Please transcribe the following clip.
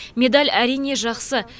медаль әрине жақсы